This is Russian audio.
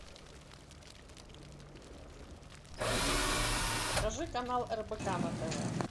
покажи канал рбк на тв